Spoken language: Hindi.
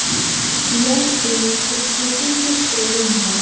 यह एक स्कूटी की शोरूम है।